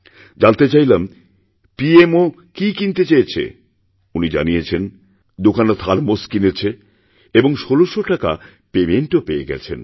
জানতে চাইলাম পিএমও কি কিনতে চেয়েছে উনি জানিয়েছেন দুখানা থার্মোস কিনেছে এবং ১৬০০টাকা পেমেণ্টও পেয়ে গেছেন